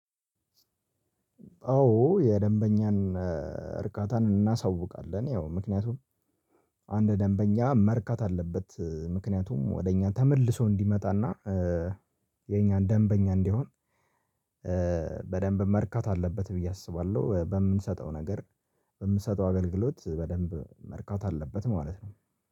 አዎ የደንበኛን እርካታን እናሳውቃለን ያው ምክንያቱም አንድ ደንበኛ መርካት አለበት ምክንያቱም ወደ እኛ ተመልሶ እንዲመጣና የኛን ደንበኛ እንዲሆን በደንብ መርካት አለበት ብዬ አስባለሁ በምንሰጠው ነገር በምትሰጠው አገልግሎት በደንብ መርካት አለበት ማለት ነው